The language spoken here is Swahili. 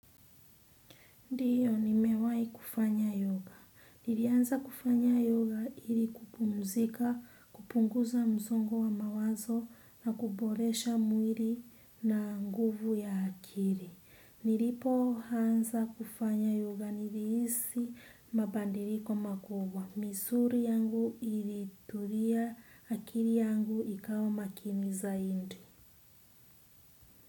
Ndiyo, nimewai kufanya yoga. Nilianza kufanya yoga ili kupumzika, kupunguza mzongo wa mawazo na kuboresha mwiri na nguvu ya akiri. Nilipo hanza kufanya yoga nilihisi mabandiriko makuwa. Misuri yangu ilitulia akiri yangu ikawa makini zaindi.